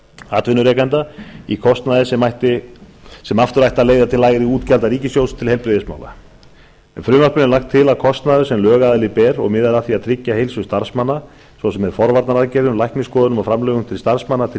atvinnurekanda í kostnaði sem aftur ætti að leiða til lægri útgjalda ríkissjóðs til heilbrigðismála með frumvarpinu er lagt til að kostnaður sem lögaðili ber og miðar að því að tryggja heilsu starfsmanna svo sem með forvarnaaðgerðum læknisskoðunum og framlögum til starfsmanna til